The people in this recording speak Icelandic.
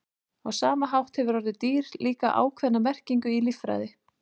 Á sama hátt hefur orðið dýr líka ákveðna merkingu í líffræði.